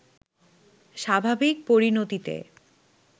স্বাভাবিক পরিণতিতে